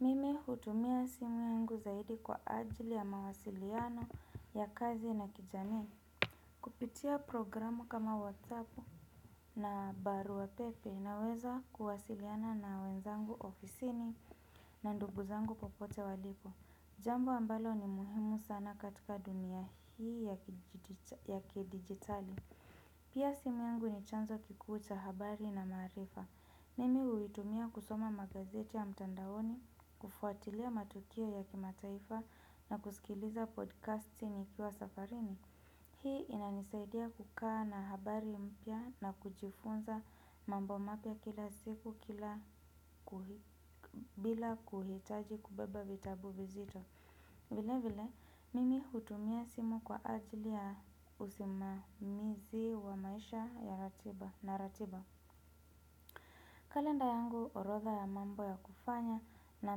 Mimi hutumia simu yangu zaidi kwa ajili ya mawasiliano ya kazi na kijamii. Kupitia programu kama whasappt na baru wa pepe naweza kuwasiliana na wenzangu ofisini na nduguzangu popote walipo. Jambo ambalo ni muhimu sana katika dunia hii ya kidigitali. Pia simu yangu ni chanzo kikuu cha habari na maarifa. Mimi huitumia kusoma magazeti ya mtandaoni, kufuatilia matukio ya kimataifa na kusikiliza podcast nikiwa safarini. Hii inanisaidia kukaa na habari mpya na kujifunza mambo mapya kila siku bila kuhitaji kubeba vitabu vizito. Vile vile, mimi hutumia simu kwa ajili ya usimamizi wa maisha na ratiba. Kalenda yangu orotha ya mambo ya kufanya na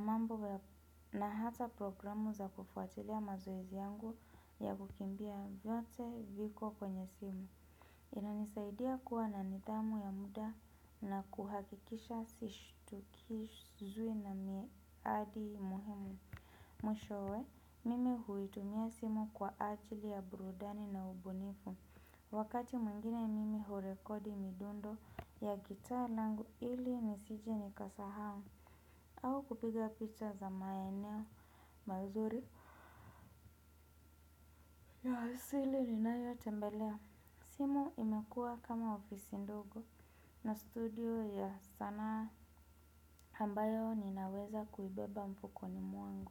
mambo na hata programu za kufuatilia mazoezi yangu ya kukimbia vyote viko kwenye simu. Inanisaidia kuwa na nithamu ya muda na kuhakikisha sishutukizui na miadi muhimu. Mwishowe, mime huitumia simu kwa ajili ya burudani na ubunifu. Wakati mwingine mimi hurekodi midundo ya gitaa langu ili nisije nikasahau au kupiga picha za maeneo mazuri ya hasili ni nayo tembelea. Simu imekua kama ofisi ndogo na studio ya sanaa ambayo ninaweza kuibeba mfukoni mwangu.